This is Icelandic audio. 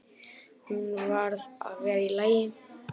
Hún varð að vera í lagi.